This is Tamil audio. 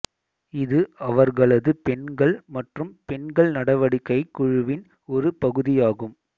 இது அவர்களது பெண்கள் மற்றும் பெண்கள் நடவடிக்கைக் குழுவின் ஒரு பகுதியாகும்